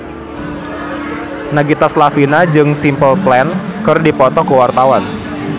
Nagita Slavina jeung Simple Plan keur dipoto ku wartawan